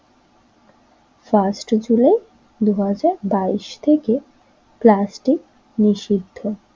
Fast July দুই হাজার বাইস থেকে প্লাস্টিক নিষিদ্ধ।